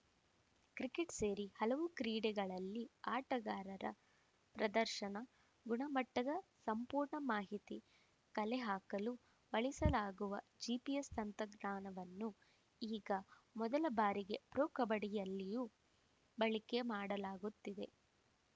cricket ಸೇರಿ ಹಲವು ಕ್ರೀಡೆಗಳಲ್ಲಿ ಆಟಗಾರರ ಪ್ರದರ್ಶನ ಗುಣಮಟ್ಟದ ಸಂಪೂರ್ಣ ಮಾಹಿತಿ ಕಲೆಹಾಕಲು ಬಳಸಲಾಗುವ ಜಿಪಿಎಸ್‌ ತಂತ್ರಜ್ಞಾನವನ್ನು ಈಗ ಮೊದಲ ಬಾರಿಗೆ ಪ್ರೊ ಕಬಡ್ಡಿಯಲ್ಲಿಯೂ ಬಳಕೆ ಮಾಡಲಾಗುತ್ತಿದೆ